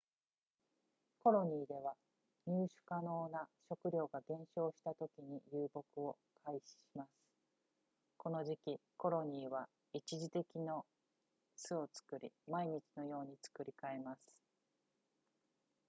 コロニーでは入手可能な食料が減少したときに遊牧を開始しますこの時期コロニーは一時的の巣を作り毎日のように作り変えます